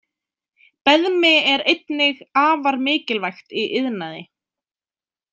Beðmi er einnig afar mikilvægt í iðnaði.